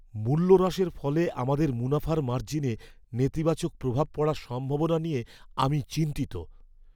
মূল্য হ্রাসের ফলে আমাদের মুনাফার মার্জিনে নেতিবাচক প্রভাব পড়ার সম্ভাবনা নিয়ে আমি চিন্তিত।